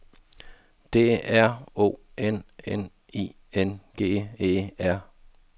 D R O N N I N G E R